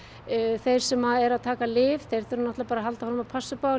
þeir sem eru að taka lyf þurfa að halda áfram að passa upp á